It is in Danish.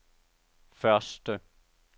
første